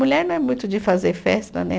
Mulher não é muito de fazer festa, né?